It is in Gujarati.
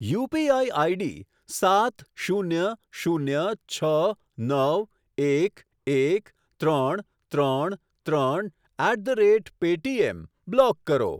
યુપીઆઈ આઈડી સાત શૂન્ય શૂન્ય છ નવ એક એક ત્રણ ત્રણ ત્રણ at the rate Paytm block કરો.